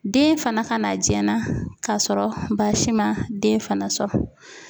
Den fana ka na jɛn na k'a sɔrɔ baasi ma den fana sɔrɔ.